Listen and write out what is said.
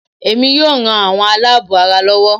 Èmi yóò ran àwọn aláàbọ̀ ara lọwọ́